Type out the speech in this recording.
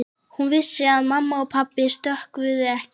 Hún vissi að mamma og pabbi skrökvuðu ekki.